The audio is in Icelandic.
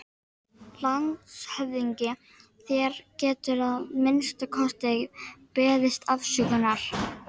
LANDSHÖFÐINGI: Þér gætuð að minnsta kosti beðist afsökunar.